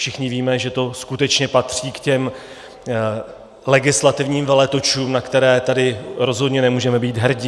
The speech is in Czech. Všichni víme, že to skutečně patří k těm legislativním veletočům, na které tady rozhodně nemůžeme být hrdi.